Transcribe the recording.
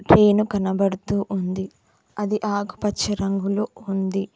Train కనబడుతూ ఉంది అది ఆకుపచ్చ రంగులొ ఉంది.